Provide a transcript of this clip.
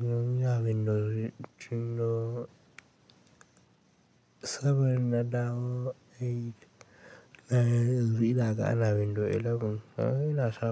Munyi a Windows Windows Seven na dawo Eight, yanzu ana Windows Eleven. Na ina zaɓa.